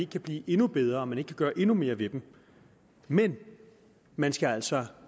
kan blive endnu bedre og at man ikke kan gøre endnu mere ved dem men man skal altså